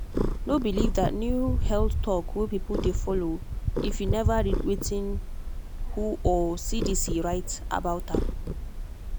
no believe that new health talk wey people dey follow if you never read wetin who or cdc write about am.